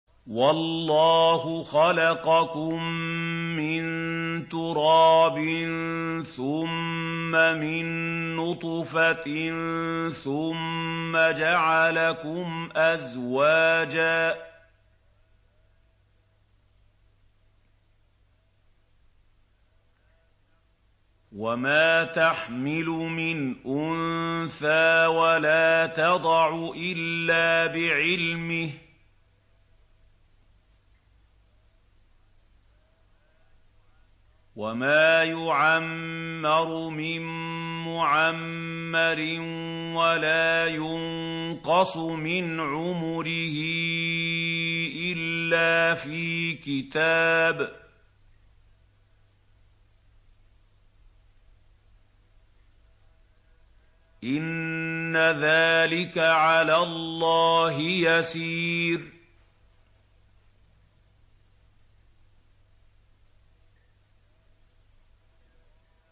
وَاللَّهُ خَلَقَكُم مِّن تُرَابٍ ثُمَّ مِن نُّطْفَةٍ ثُمَّ جَعَلَكُمْ أَزْوَاجًا ۚ وَمَا تَحْمِلُ مِنْ أُنثَىٰ وَلَا تَضَعُ إِلَّا بِعِلْمِهِ ۚ وَمَا يُعَمَّرُ مِن مُّعَمَّرٍ وَلَا يُنقَصُ مِنْ عُمُرِهِ إِلَّا فِي كِتَابٍ ۚ إِنَّ ذَٰلِكَ عَلَى اللَّهِ يَسِيرٌ